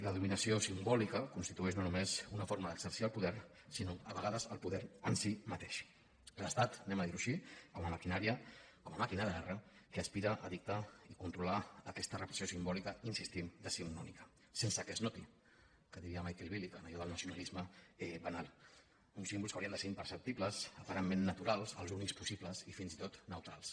la dominació simbòlica constitueix no només una forma d’exercir el poder sinó a vegades el poder en si mateix l’estat diguem ho així com a màquina de guerra que aspira a dictar i controlar aquesta repressió simbòlica hi insistim decimonònica sense que es noti que diria michael billig amb allò del nacionalisme banal uns símbols que haurien de ser imperceptibles aparentment naturals els únics possibles i fins i tot neutrals